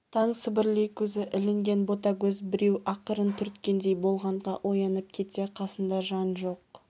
таң сібірлей көзі ілінген ботагөз біреу ақырын түрткендей болғанға оянып кетсе қасында жан жоқ